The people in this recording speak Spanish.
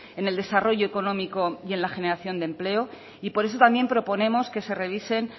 en el desarrollo económico y en la generación de empleo y por eso también proponemos que se revisen